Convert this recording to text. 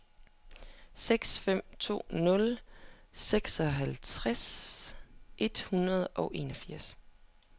seks fem to nul seksoghalvtreds et hundrede og enogfirs